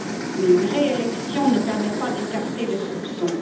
Mais une réélection ne permet pas d'écarter les soupçons.